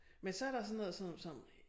Men så der sådan noget som som